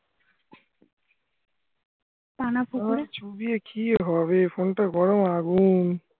আর চুবিয়ে কি হবে phone টা গরম আগুন